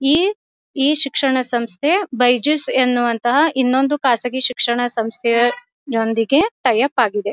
ಈ ಈ ಶಿಕ್ಷಣ ಸಂಸ್ಥೆ ಬೈಜುಸ್ ಎನ್ನುವಂತಹ ಇನ್ನೊಂದು ಖಾಸಗಿ ಶಿಕ್ಷಣ ಸಂಸ್ಥೆಯೊಂದಿಗೆ ಟೈ ಅಪ್ ಆಗಿದೆ.